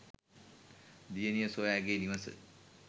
දියණිය සොයා ඇගේ නිවස